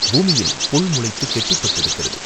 பூமியில் புல் முளைத்துக் கெட்டிப் பட்டிருக்கிறது.